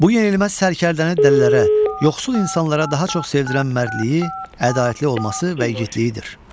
Bu yenilməz sərkərdəni dəlilərə, yoxsul insanlara daha çox sevdilən mərdliyi, ədalətli olması və igidliyidir.